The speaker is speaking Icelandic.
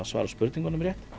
svara spurningunum rétt